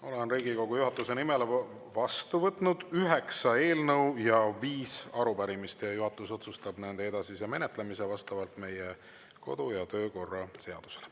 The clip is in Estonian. Olen Riigikogu juhatuse nimel vastu võtnud üheksa eelnõu ja viis arupärimist ning juhatus otsustab nende edasise menetlemise vastavalt meie kodu- ja töökorra seadusele.